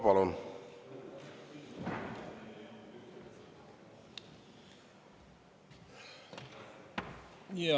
Palun!